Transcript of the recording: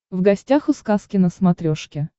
в гостях у сказки на смотрешке